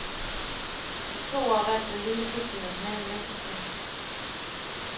De to år vandt den lille klub det nationale mesterskab.